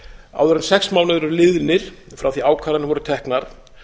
áður en sex mánuðir eru liðnir frá því að ákvarðanir voru teknar